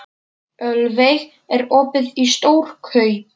Ölveig, er opið í Stórkaup?